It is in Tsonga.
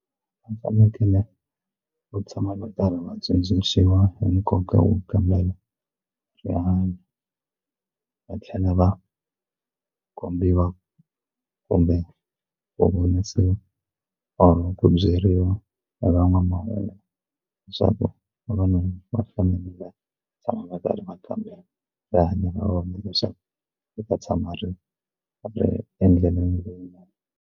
U fanekele va tshama va karhi va tsundzuxiwa hi nkoka wo kambela rihanyo va tlhela va kombiwa kumbe vonisiwa or ku byeriwa hi van'wamahungu leswaku vavanuna va fanele va tshama va karhi kambela rihanyo ra vona leswaku u ta tshama ri ri endleleni leyinene.